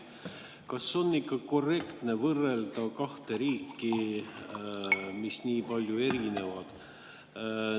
Kas on ikka korrektne võrrelda kahte riiki, mis nii palju erinevad?